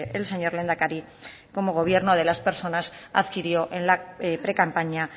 el señor lehendakari como gobierno de las personas adquirió en la precampaña